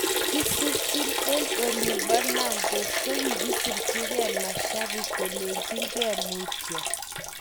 Kisirchin:En olin po nantes kogisirchi ge mashanpik kolenjin ke Mutyo.